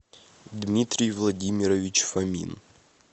дмитрий владимирович фомин